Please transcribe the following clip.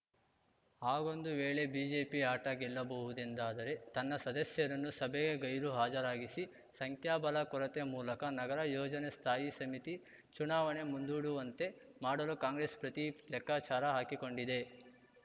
ಹಾಗೊಂದು ವೇಳೆ ಬಿಜೆಪಿ ಆಟ ಗೆಲ್ಲಬಹುದೆಂದಾದರೆ ತನ್ನ ಸದಸ್ಯರನ್ನು ಸಭೆಗೆ ಗೈರು ಹಾಜರಾಗಿಸಿ ಸಂಖ್ಯಾಬಲ ಕೊರತೆ ಮೂಲಕ ನಗರ ಯೋಜನೆ ಸ್ಥಾಯಿ ಸಮಿತಿ ಚುನಾವಣೆ ಮುಂದೂಡುವಂತೆ ಮಾಡಲು ಕಾಂಗ್ರೆಸ್‌ ಪ್ರತಿ ಲೆಕ್ಕಾಚಾರ ಹಾಕಿಕೊಂಡಿದೆ